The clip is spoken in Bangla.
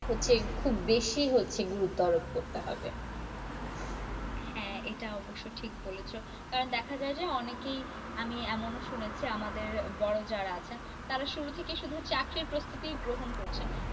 হচ্ছে খুব বেশি হচ্ছে গুরুতর করতে হবে হ্যাঁ এটা অবশ্য ঠিক বলেছ। কারন দেখা যায় যে অনেকেই আমি এমনও শুনেছি আমাদের বড়ো যারা আছেন, তারা শুরু থেকেই শুধু চাকরি প্রস্তুতি গ্রহণ করছেন।